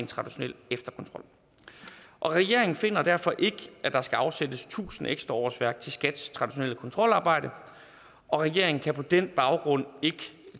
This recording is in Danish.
traditionel efterkontrol regeringen finder derfor ikke at der skal afsættes tusind ekstra årsværk til skats traditionelle kontrolarbejde og regeringen kan på den baggrund ikke